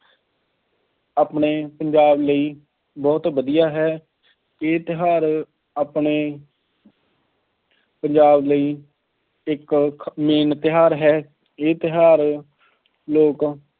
ਆਪਣੇ ਪੰਜਾਬ ਲਈ ਬਹੁਤ ਵਧੀਆ ਹੈ, ਇਹ ਤਿਉਹਾਰ ਆਪਣੇ ਪੰਜਾਬ ਲਈ ਇੱਕ main ਤਿਉਹਾਰ ਹੈ। ਇਹ ਤਿਉਹਾਰ ਲੋਕ